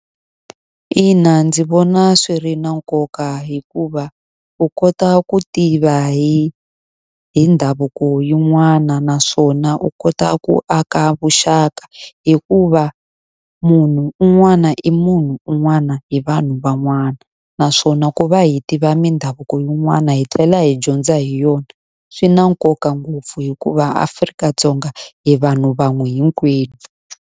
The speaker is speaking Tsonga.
Ina ndzi vona swi ri na nkoka hikuva, u kota ku tiva hi hi mindhavuko yin'wana naswona u kota ku aka vuxaka. Hikuva munhu un'wana i munhu un'wana hi vanhu van'wana, naswona ku va hi tiva mindhavuko yin'wana hi tlela hi dyondza hi yona. Swi na nkoka ngopfu hikuva Afrika-Dzonga hi vanhu van'we hinkwenu.